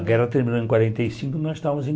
A guerra terminou em quarenta e cinco e nós estávamos em